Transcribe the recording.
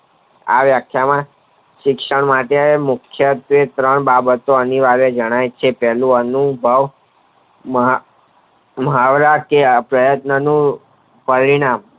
આવ શિક્ષણ માટે મુખ્ય ત્રણ બાબતો અહીં જણાય છે પહેલું અનુભવ માં મહાવરા કે આ પ્રયાતાનો નું પરિણામ